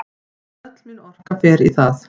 Öll mín orka fer í það.